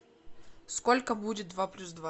сколько будет два плюс два